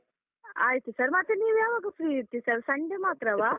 ಆಯ್ತು sir ಮತ್ತೆ ನೀವು ಯಾವಾಗ free ಇರ್ತಿರಿ Sunday ಮಾತ್ರವಾ?